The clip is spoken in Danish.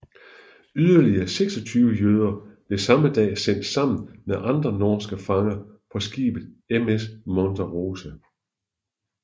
Yderligere 26 jøder blev samme dag sendt sammen med andre norske fanger på skibet MS Monte Rosa